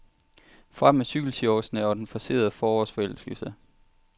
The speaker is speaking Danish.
Frem med cykelshortsene og den forcerede forårsforelskelse.